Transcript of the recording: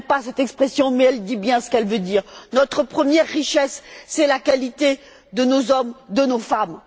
Je n'aime pas cette expression mais elle dit bien ce qu'elle veut dire. Notre première richesse, c'est la qualité de nos hommes et de nos femmes.